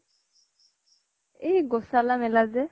এই গোচালা মেলা যে